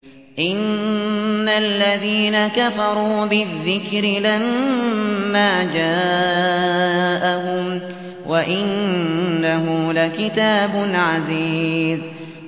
إِنَّ الَّذِينَ كَفَرُوا بِالذِّكْرِ لَمَّا جَاءَهُمْ ۖ وَإِنَّهُ لَكِتَابٌ عَزِيزٌ